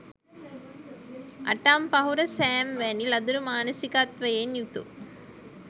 අටම්පහුර සෑම් වැනි ලදරු මානසිකත්වයෙන් යුතු